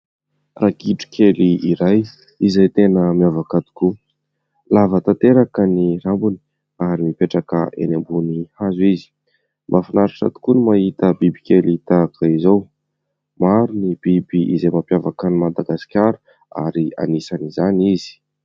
Ragidro kely iray izay tena miavaka tokoa, lava tanteraka ny rambony ary mipetraka eny ambonin'ny hazo izy. Mahafinaritra tokoa no mahita biby kely tahak'izay izao, maro ny biby izay mampiavaka an'i Madagasikara ary anisan'izany izy.